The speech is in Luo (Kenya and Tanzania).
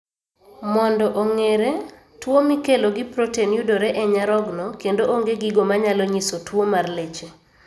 Mondo ong'ere ,tuo mikelo gi proten yudore e nyarogno kendo onge gigo manyalo nyiso tuo mar leche